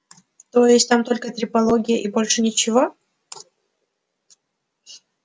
то есть там только трепология и больше ничего